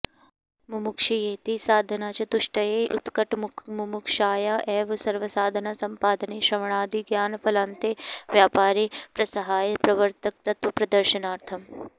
मुमुक्षयेति साधनचतुष्टये उत्कटमुमुक्षाया एव सर्वसाधनसम्पादने श्रवणादिज्ञानफलान्ते व्यापारे प्रसह्य प्रवर्तकत्वप्रदर्शनार्थम्